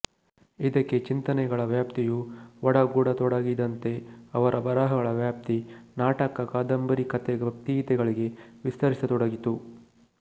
ಇದಕ್ಕೆ ಚಿಂತನೆಗಳ ವ್ಯಾಪ್ತಿಯೂ ಒಡಗೂಡತೊಡಗಿದಂತೆ ಅವರ ಬರಹಗಳ ವ್ಯಾಪ್ತಿ ನಾಟಕ ಕಾದಂಬರಿ ಕತೆ ಭಕ್ತಿಗೀತೆಗಳಿಗೆ ವಿಸ್ತರಿಸತೊಡಗಿತು